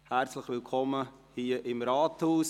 Herzlich willkommen hier im Rathaus!